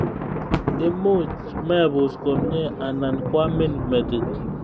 Imuch mebus komnye anan koamin metit